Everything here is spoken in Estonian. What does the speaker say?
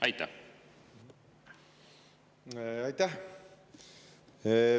Aitäh!